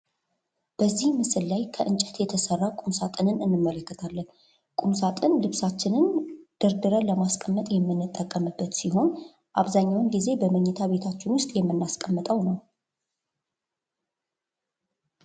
በዚህ ምስል ላይ ከእንጨት የተሠራ ቁም ሳጥንን እንመለከታለን። ቁም ሳጥን ልብሳችንን ደርድረን ለማስቀመጥ የምንጠቀምበት ሲሆን አብዛኛውን ጊዜ በመኝታ ቤታችን ውስጥ የምናስቀምጠው ነው ።